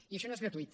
i això no és gratuït